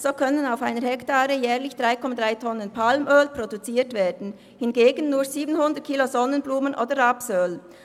So können auf einer Hektare jährlich 3,3 Tonnen Palmöl produziert werden, hingegen nur 700 Kilogramm Sonnenblumen- oder Rapsöl.